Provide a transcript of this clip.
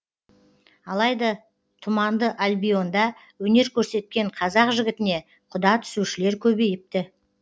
алайда тұманды альбионда өнер көрсеткен қазақ жігітіне құда түсушілер көбейіпті